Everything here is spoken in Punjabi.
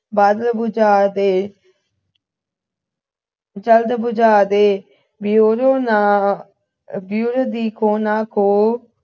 ਬਸ ਬੁਝਾ ਦੇ ਜਲਦ ਬੁਝਾ ਦੇ ਵੀ ਓਦੋਂ ਨਾ ਵੀ ਨਾ ਕੋ